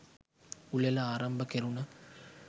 උළෙල ආරම්භ කෙරුණ